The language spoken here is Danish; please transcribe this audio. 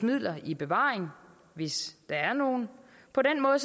midler i bevaring hvis der er nogen på den måde